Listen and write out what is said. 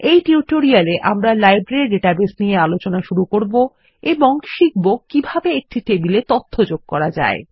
এই টিউটোরিয়ালে আমরা লাইব্রেরী ডাটাবেস নিয়ে আলোচনা শুরু করবো এবং শিখব কিভাবে একটি টেবিলে তথ্য যোগ করা যায়